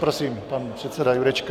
Prosím, pan předseda Jurečka.